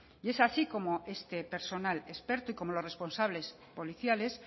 y es así como este personal experto y óomo los responsables policiales